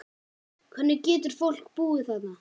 Hvernig getur fólk búið þarna?